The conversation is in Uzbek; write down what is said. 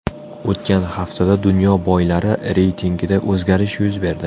O‘tgan haftada dunyo boylari reytingida o‘zgarish yuz berdi.